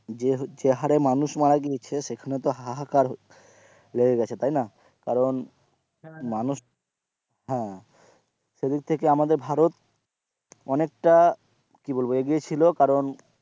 যে যে হারে মানুষ মারা গিয়েছে সেখানে তো হা হাহাকার লেগে গেছে তাই না কারণ মানুষ হ্যাঁ, সেদিক থেকে আমাদের ভারত অনেকটা কি বলবো এগিয়ে ছিল কারণ,